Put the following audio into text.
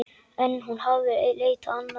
En hún hafði leitað annað.